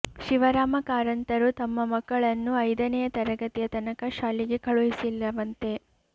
ಶಿವರಾಮ ಕಾರಂತರು ತಮ್ಮ ಮಕ್ಕಳನ್ನು ಐದನೆಯ ತರಗತಿಯ ತನಕ ಶಾಲೆಗೆ ಕಳುಹಿಸಲಿಲ್ಲವಂತೆ